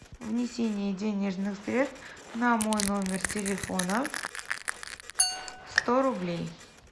внесение денежных средств на мой номер телефона сто рублей